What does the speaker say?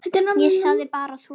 Ég segi bara svona.